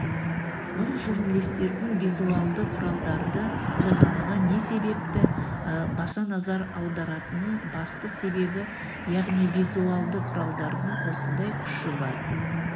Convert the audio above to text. бұл журналистердің визуалды құралдарды қолдануға не себепті баса назар аударатының басты себебі яғни визуалды құралдардың осындай күші бар